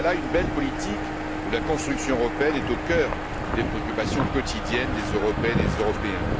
Voilà une belle politique où la construction européenne est au cœur des préoccupations quotidiennes des Européennes et des Européens.